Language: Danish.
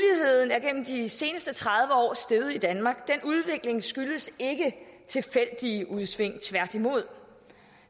er gennem de seneste tredive år steget i danmark den udvikling skyldes ikke tilfældige udsving tværtimod